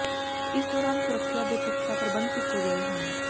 ਇਸ ਦੌਰਾਨ ਸੁਰੱਖਿਆ ਦੇ ਪੁਖਤਾ ਪ੍ਰਬੰਧ ਕੀਤੇ ਗਏ ਹਨ